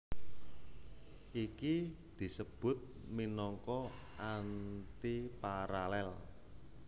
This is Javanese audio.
Iki disebut minangka antiparalel